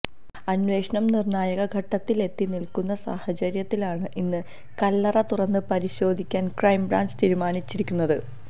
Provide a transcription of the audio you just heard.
അന്വേഷണം നിർണായക ഘട്ടത്തിലെത്തി നിൽക്കുന്ന സാഹചര്യത്തിലാണ് ഇന്ന് കല്ലറ തുറന്ന് പരിശോധിക്കാൻ ക്രൈംബ്രാഞ്ച് തീരുമാനച്ചിരിക്കുന്നത്